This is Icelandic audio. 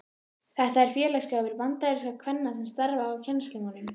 Þetta er félagsskapur bandarískra kvenna sem starfa að kennslumálum.